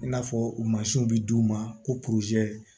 I n'a fɔ mansinw bɛ d'u ma ko